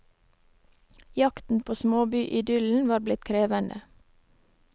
Jakten på småbyidyllen var blitt krevende.